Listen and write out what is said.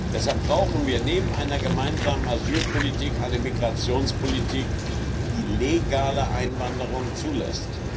Deshalb brauchen wir neben einer gemeinsamen Asylpolitik eine Migrationspolitik, die legale Einwanderung zulässt.